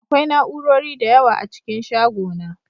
Akwai na'urori da yawa a cikin shagona